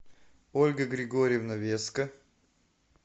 ольга григорьевна веска